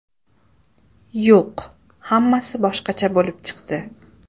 Yo‘q, hammasi boshqacha bo‘lib chiqdi.